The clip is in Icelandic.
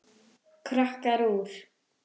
Krakkar úr